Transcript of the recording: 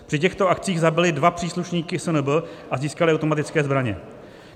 Při těchto akcích zabili dva příslušníky SNB a získali automatické zbraně.